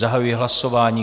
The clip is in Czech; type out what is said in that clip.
Zahajuji hlasování.